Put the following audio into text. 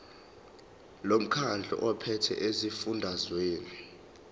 lomkhandlu ophethe esifundazweni